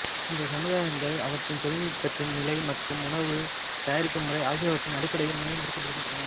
இந்த சமுதாயங்கள் அவற்றின் தொழில்நுட்பத்தின் நிலை மற்றும் உணவு தயாரிக்கும் முறை ஆகியவற்றின் அடிப்படையில் மேலும் பிரிக்கப்பட்டன